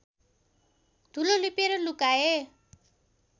धुलो लिपेर लुकाए